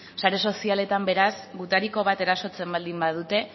sare sozialetan beraz gutariko bat erasotzen baldin badute